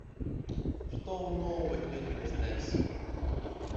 что нового идет на стс